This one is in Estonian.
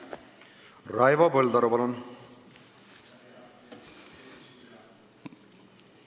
Raivo Põldaru, palun!